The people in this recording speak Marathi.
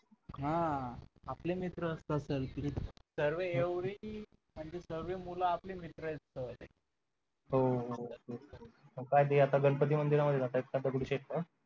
हा आपले मित्र असतात तर ते सर्व एवढी सरबी मुलं आपली मित्र आहेत sir हो हो तेच तर मग काय आता ते गणपती मंदिरात राहतात का दगडूशेठच्या